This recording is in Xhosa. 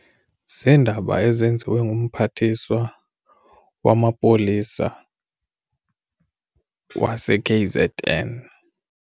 Ziindaba ezenziwe ngumphathiswa wamapolisa wase-K_Z_N.